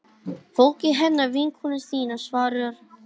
Fólkið hennar vinkonu þinnar, svarar hún.